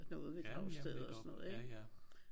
Ja jamen netop. Ja ja